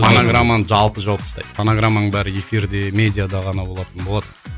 фонограмманы жалпы жауып тастайды фонограммаң бәрі эфирде медиада ғана болатын болады